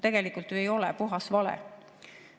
Tegelikult ju ei ole, see on puhas vale.